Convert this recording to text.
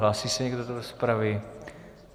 Hlásí se někdo do rozpravy?